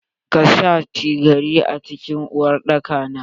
Ka sha cigari a cikin uwar daka na?